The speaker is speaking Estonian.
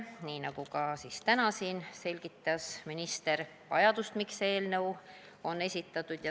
Nii nagu ka täna siin, selgitas minister vajadust, miks see eelnõu on esitatud.